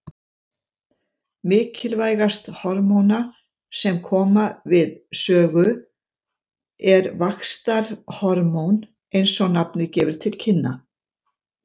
Mikilvægast hormóna sem koma við sögu er vaxtarhormón eins og nafnið gefur til kynna.